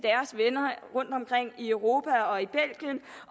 rundtomkring i europa